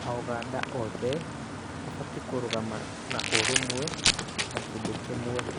A ũganda othe mabatiĩ kũrũgama na ũrũmwe ta kindũ kĩmwe